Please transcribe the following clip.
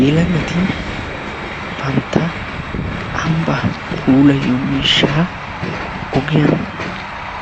Yelagati bantta ambbaa puulayiyoo miishshaa ogiyaan